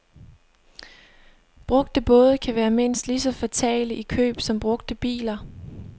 Brugte både kan være mindst lige så fatale i køb som brugte biler.